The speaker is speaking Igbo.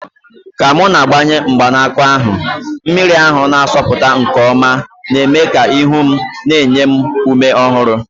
Ka m na-agbanye mgbanaka ahụ, mmiri ahụ na-asọpụta nke ọma, na-eme ka ihu m na-enye ume ọhụrụ.